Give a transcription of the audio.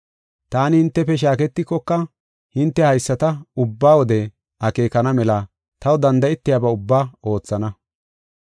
Taani hintefe shaaketikoka hinte haysata ubba wode akeekana mela taw danda7etiyaba ubbaa oothana.